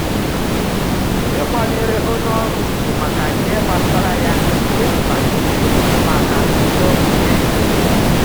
Ikwanyere onye ọrụ ugwu maka ihe gbasara ya di mkpa maka udo ịchị.